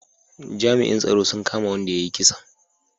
Jami'in tsaro sun kama wanda ya yi kisan